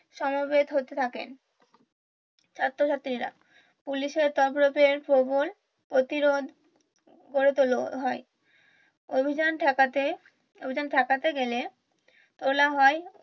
সমবেত হতে থাকেন ছাত্রছাত্রীরা পুলিশের তান্ডবে প্রতিরোধ গড়ে তুলা হয় অভিযান ঠেকাতে অভিযান ঠেকাতে গেলে তোলা হয়